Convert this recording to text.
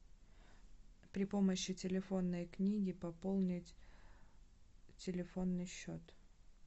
при помощи телефонной книги пополнить телефонный счет